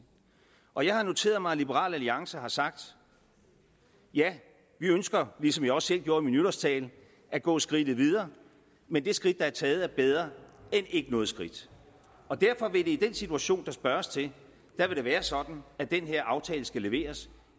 og jeg har noteret mig at liberal alliance har sagt ja vi ønsker ligesom jeg også selv gjorde i min nytårstale at gå skridtet videre men det skridt der er taget er bedre end ikke noget skridt derfor vil det i den situation der spørges til være sådan at den her aftale skal leveres